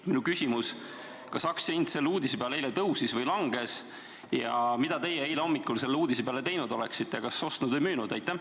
Minu küsimus: kas aktsia hind selle uudise peale eile tõusis või langes ja mida teie eile hommikul selle uudise peale teinud oleksite, kas ostnud või müünud?